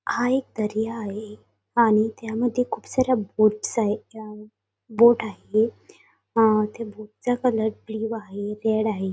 आयतरी आहे आणि त्यामध्ये खूप साऱ्या बोट्स आहे बोट आहे आ त्या बोट चा कलर ब्ल्यू आहे रेड आहे.